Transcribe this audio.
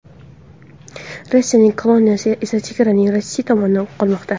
Rossiyaning kolonnasi esa chegaraning Rossiya tomonida qolmoqda.